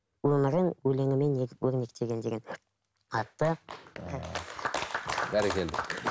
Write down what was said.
өмірің өлеңімен өрнектелген деген атты бәрекелді